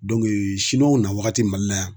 w na wagati Mali la yan